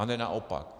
A ne naopak.